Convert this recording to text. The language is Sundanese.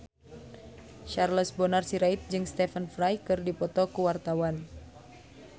Charles Bonar Sirait jeung Stephen Fry keur dipoto ku wartawan